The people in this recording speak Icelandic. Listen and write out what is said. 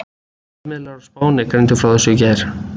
Fjölmiðlar á Spáni greindu frá þessu í gær.